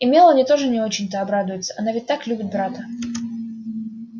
и мелани тоже не очень-то обрадуется она ведь так любит брата